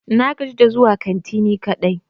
Na gaji da zuwa kanti ni kadai.